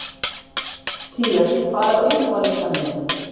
Tía, hvað er á innkaupalistanum mínum?